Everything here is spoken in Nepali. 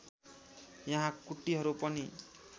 यहाँ कुटीहरू पनि